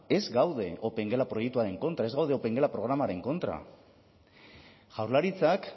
ez gaude opengela proiektuaren kontra ez gaude opengela programaren kontra jaurlaritzak